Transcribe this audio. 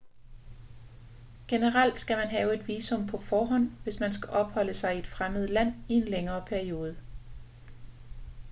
generelt skal man have et visum på forhånd hvis man skal opholde sig i et fremmed land i en længere periode